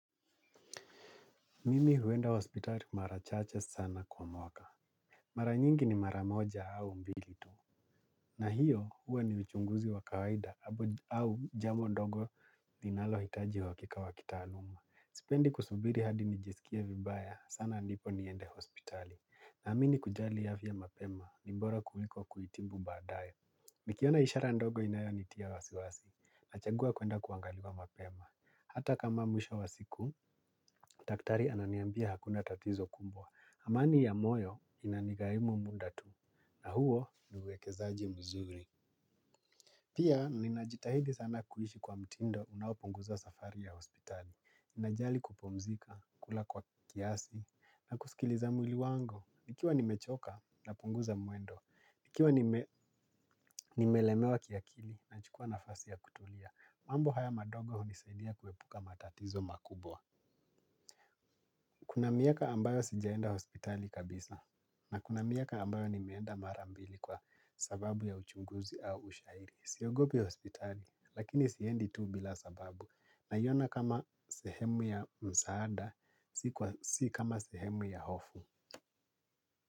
Mimi huenda hospitali mara chache sana kwa mwaka. Mara nyingi ni mara moja au mbili tu. Na hiyo huwa ni uchunguzi wa kawaida au jambo ndogo ninalohitaji uhakika wa kitaaluma. Sipendi kusubiri hadi nijisikie vibaya sana ndipo niende hospitali. Naamini kujali afya mapema ni bora kuliko kuitibu baadae. Nikiona ishara ndogo inayonitia wasiwasi. Nachagua kuenda kuangaliwa mapema. Hata kama mwishao wa siku, daktari ananiambia hakuna tatizo kumbwa. Amani ya moyo inanigarimu muda tu. Na huo ni uwekezaji mzuri. Pia, ninajitahidi sana kuishi kwa mtindo unaopunguza safari ya hospitali. Najali kupumzika, kula kwa kiasi, na kusikiliza mwili wango. Nikiwa nimechoka, napunguza mwendo. Nikiwa nimelemewa kiakili nachukua nafasi ya kutulia. Mambo haya madogo unisaidia kuepuka matatizo makubwa. Kuna miaka ambayo sijaenda hospitali kabisa na kuna miaka ambayo nimeenda mara mbili kwa sababu ya uchunguzi au ushairi. Siogopi hospitali lakini siendi tu bila sababu naiona kama sehemu ya msaada si kama sehemu ya hofu.